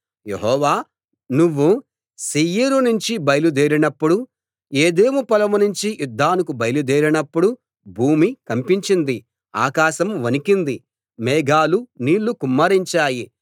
యెహోవా నువ్వు శేయీరు నుంచి బయలుదేరినప్పుడు ఎదోము పొలం నుంచి యుద్ధానికి బయలుదేరినప్పుడు భూమి కంపించింది ఆకాశం వణికింది మేఘాలు నీళ్ళు కుమ్మరించాయి